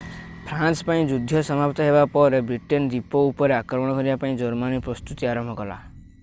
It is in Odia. ଫ୍ରାନ୍ସ ପାଇଁ ଯୁଦ୍ଧ ସମାପ୍ତ ହେବା ପରେ ବ୍ରିଟେନ୍ ଦ୍ୱୀପ ଉପରେ ଆକ୍ରମଣ କରିବା ପାଇଁ ଜର୍ମାନୀ ପ୍ରସ୍ତୁତି ଆରମ୍ଭ କଲା